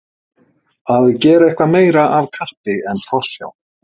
Að gera eitthvað meira af kappi en forsjá